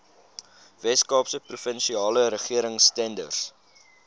weskaapse provinsiale regeringstenders